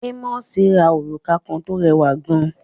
Ámósì ra òrùka kan tó rẹwà gan